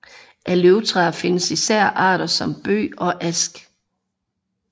Af løvtræer findes især arter som bøg og ask